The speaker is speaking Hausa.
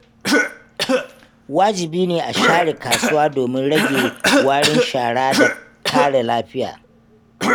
Wajibi ne a share kasuwa domin rage warin shara da kare lafiya.